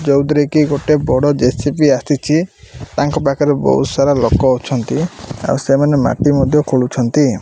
ଯୋଉଥିରେକି ଗୋଟେ ବଡ JCP J C B ଆସିଛି ତାଙ୍କ ପାଖରେ ବହୁତସାରା ଲୋକଅଛନ୍ତି ସେମାନେ ମାଟି ମଧ୍ୟ ଖୋଳୁଚନ୍ତି।